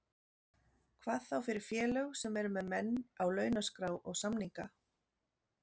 Hvað þá fyrir félög sem eru með menn á launaskrá og samninga.